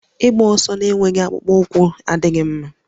Ịgba ọsọ na-enweghị akpụkpọ ụkwụ adịghị mma